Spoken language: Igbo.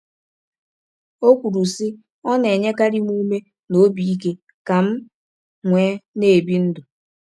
O kwuru sị: “Ọ na nyekarị m ume na obi ike ka m nwee n'ebị ndụ.”